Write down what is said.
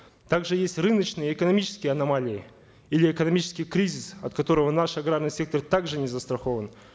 также есть рыночные экономические аномалии или экономический кризис от которого наш аграрный сектор также не застрахован